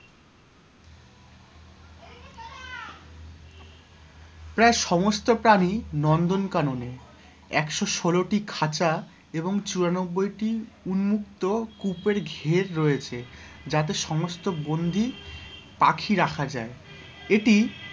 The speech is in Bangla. প্রায় সমস্ত প্রাণী নন্দন কাননে, একশো ষোলোটি খাঁচা এবং চুরানব্বইটি উন্মুক্ত কুপের ঘের রয়েছে যাতে সমস্ত বন্ধী পাখি রাখা যায় এটি,